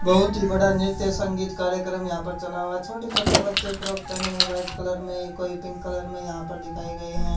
बहोत ही बड़ा नृत्य संगीत कार्यकम यहां पे चला हुआ है छोटे छोटे बच्चे फ्रॉक पहने है वाइट कलर मे कोई पिंक कलर में यहां पर दिखाए गए है।